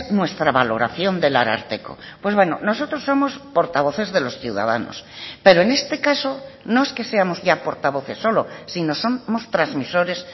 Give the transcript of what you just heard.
nuestra valoración del ararteko pues bueno nosotros somos portavoces de los ciudadanos pero en este caso no es que seamos ya portavoces solo sino somos transmisores